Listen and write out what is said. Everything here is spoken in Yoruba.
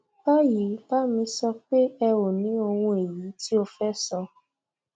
báyìí bá mi sọ pé ẹ o ní ohun èyí tí o fẹ sọ